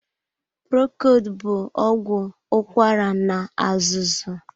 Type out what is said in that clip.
Procold bụ ọgwụ ụkwara na-azụzu.